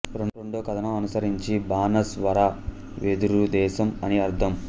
రెండవ కథనం అనుసరించి బనస్ వర వెదురు దేశం అని అర్ధం